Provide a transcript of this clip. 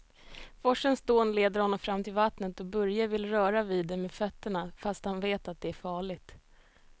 Forsens dån leder honom fram till vattnet och Börje vill röra vid det med fötterna, fast han vet att det är farligt.